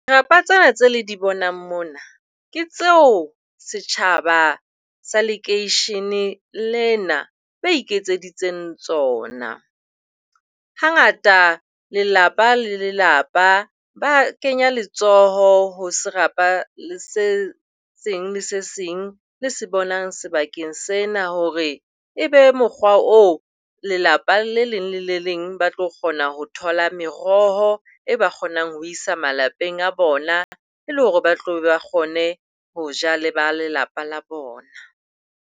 Dirapa tsena tseo le di bonang mona ke tseo setjhaba sa lekeisheneng lena ba iketseditseng tsona. Hangata, lelapa le lelapa ba kenya letsoho ho serapa se seng le se seng le se bonang sebakeng sena hore e be mokgwa oo, lelapa le leng le le leng ba tlo kgona ho thola meroho e ba kgonang ho isa malapeng a bona e le hore ba tle ba kgone ho ja le ba lelapa la bona.